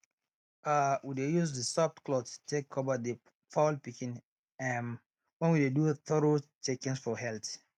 um we dey use use soft cloth take cover the fowl pikin um when we dey do thorough checkings for health